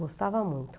Eu gostava muito.